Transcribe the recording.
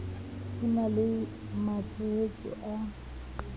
ho na le matshosetsi a